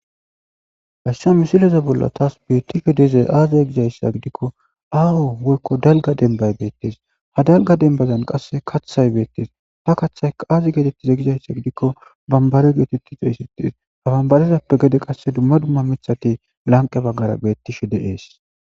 gashsha misileza bolla taas beettisho dizay aaziya gizayssa gidikko aaho wolko dalga denbay beettes ha dalga denbazan qasse kaththay beettes ha kaththay aazi geetettize gizayssa gidikko bambare geetetti xeessittes ha bambarezappe gede qasse dumma dumma mithati lanqe baggara beettishe de ees